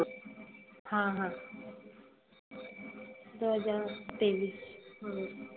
हां हां दोन हजार तेविस हं.